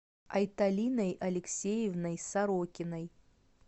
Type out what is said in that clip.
айталиной алексеевной сорокиной